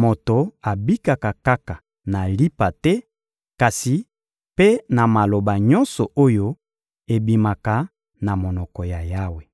moto abikaka kaka na lipa te, kasi mpe na maloba nyonso oyo ebimaka na monoko ya Yawe.